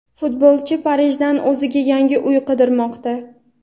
futbolchi Parijdan o‘ziga yangi uy qidirmoqda.